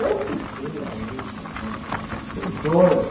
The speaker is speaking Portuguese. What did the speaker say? Eu fiquei alucinada, né? Eu fiquei doida.